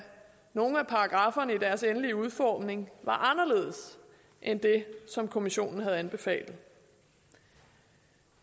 nogle af paragrafferne i deres endelige udformning var anderledes end det som kommissionen havde anbefalet